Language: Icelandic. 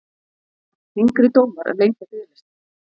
Þyngri dómar lengja biðlista